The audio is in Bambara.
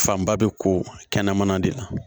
Fanba bɛ ko kɛnɛmana de la